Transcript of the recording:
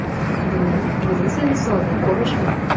Buni Gruziya misolida ko‘rish mumkin.